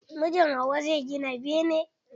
mijin hauwa zai gina bene.